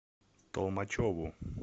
толмачеву